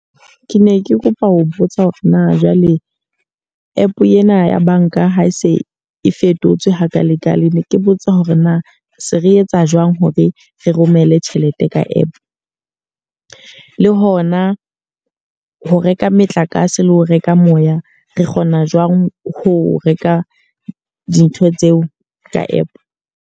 Ke ne ke kopa ho botsa hore na jwale app ena ya banka ha e se e fetotswe hakale-kale. Ne ke botsa hore na se re etsa jwang hore re romelle tjhelete ka app? Le hona ho reka motlakase le ho reka moya re kgona jwang ho reka dintho tseo ka app?